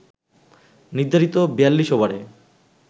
নির্ধারিত ৪২ ওভারে